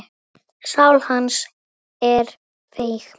Sál hans er feig.